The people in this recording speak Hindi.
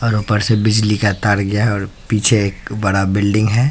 और ऊपर से बिजली का तार गया और पीछे एक बड़ा बिल्डिंग हैं।